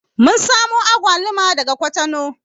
Mun samo agwaluma daga kwatano